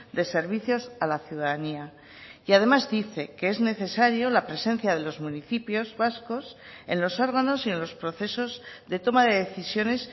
de servicios a la ciudadanía y además dice que es necesario la presencia de los municipios vascos en los órganos y en los procesos de toma de decisiones